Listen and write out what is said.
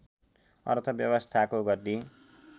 अर्थव्यवस्थाको गति